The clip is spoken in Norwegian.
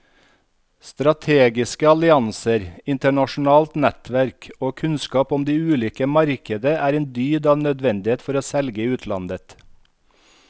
Strategiske allianser, internasjonalt nettverk og kunnskap om de ulike markeder er en dyd av nødvendighet for å selge i utlandet.